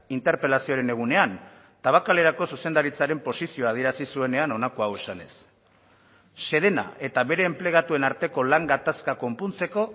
interpelazioaren egunean tabakalerako zuzendaritzaren posizioa adierazi zuenean honako hau esanez sedena eta bere enplegatuen arteko lan gatazka konpontzeko